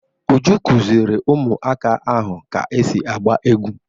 Uju kuziri ụmụaka ahụ ka esi agba egwu.